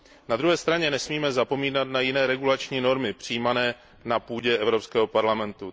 Na druhé straně nesmíme zapomínat na jiné regulační normy přijímané na půdě Evropského parlamentu.